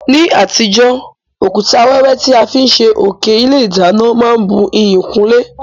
Ní àtijó, òkúta wẹ́wẹ́ ti a fi n sé òké ilé ìdánán má n bu iyì kún ilé